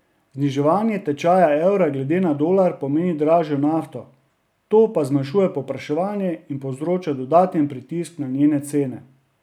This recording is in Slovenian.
Zniževanje tečaja evra glede na dolar pomeni dražjo nafto, to pa zmanjšuje povpraševanje in povzroča dodaten pritisk na njene cene.